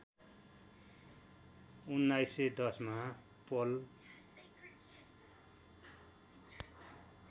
१९१० मा पल